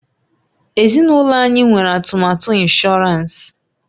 Ezinụlọ anyị nwere atụmatụ ịnshọransị.